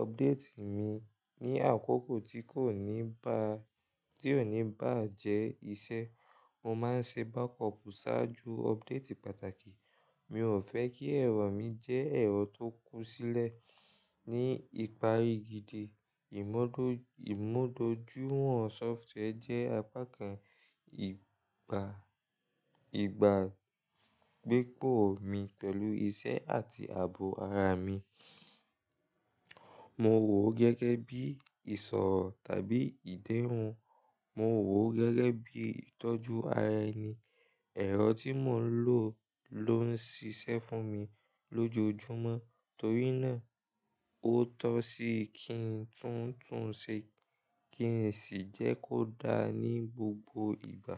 updéètì mi ní àkókò tí kò ní bà á jẹ́ ìṣe. Mo máa ń ṣe bákọọ̀pù sáájú ọbdéètì pàtàkì. Mi ò fẹ́ kí ẹ̀rọ mi jẹ́ ẹ̀rọ tó kú sílẹ̀. Ni ìparí gidi, ìmúdójúiwọ̀n sọfituweẹ jẹ́ apá kan ìgbàgbépọ̀ mi pẹ̀lú iṣẹ́ àti ààbò ara mi. Mo wò ó gẹ́gẹ́ bí ìṣòro tàbí ìdẹ́rùn. Mo wò ó gẹ́gẹ́ bí ìtọ́jú ara ẹni. Ẹ̀rọ tí mò ń lò ló ń ṣiṣẹ́ fún mi lójoojúmọ́ torí náà ó tọ́ sí kí n tún un ṣe kí sì jẹ́ kó dá ní gbogbo ìgbà.